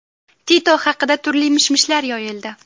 Tito haqida turli mish-mishlar yoyildi.